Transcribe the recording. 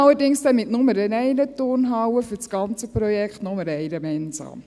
Allerdings soll es dann zusammen für das ganze Projekt nur eine Turnhalle und nur eine Mensa sein.